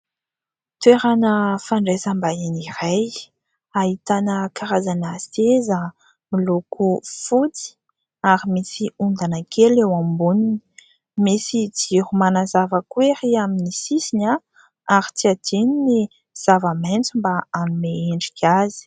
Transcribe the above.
Toerana fandraisam-bahiny iray ahitana karazana seza miloko fotsy ary misy ondana kely eo amboniny ; misy jiro manazava koa ery amin'ny sisiny a ary tsy hadino ny zava-maitso mba hanome endrika azy.